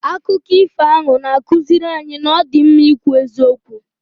Akụkọ ifo ahụ na-akụziri anyị na ọ dị mma ikwu eziokwu.